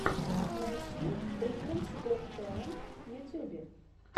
найти британс гот тэлэнт в ютьюбе